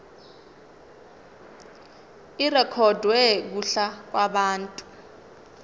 irekhodwe kuhla lwabantu